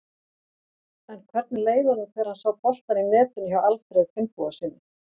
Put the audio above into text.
En hvernig leið honum þegar hann sá boltann í netinu hjá Alfreð Finnbogasyni?